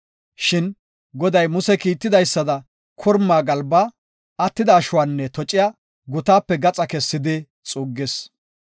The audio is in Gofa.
Shin Goday Muse kiitidaysada korma galbaa, attida ashuwanne tociya gutaape gaxa kessidi xuuggis.